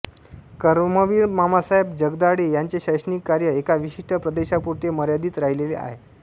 कर्मवीर मामासाहेब जगदाळे यांचे शैक्षणिक कार्य एका विशिष्ट प्रदेशापुरते मर्यादित राहिलेले आहे